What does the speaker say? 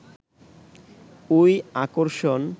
ওই আকর্ষণ